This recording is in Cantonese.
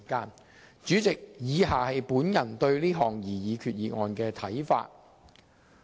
代理主席，以下是我對這項擬議決議案的看法。